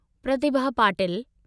Pratibha Patil